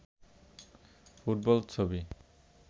football ছবি